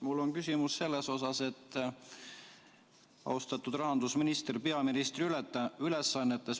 Mul on küsimus selle kohta, austatud rahandusminister peaministri ülesannetes.